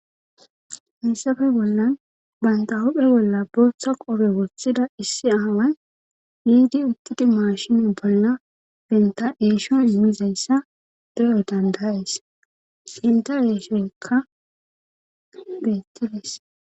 Hayisapee bollan banta hophe bolla booththa qobe woththida issi aaway yiidi uttidi maashini bolla benta deesho immizayssa deyo dandayes inta eeshoykka geettides